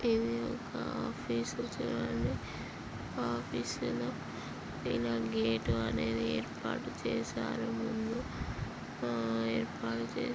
ఇది ఒక ఆఫీస్ చుడండి. ఆ ఆఫీస్ లో ఇడా గేట్ అనేది ఏర్పాటు చేసారు ముందు. ఆ --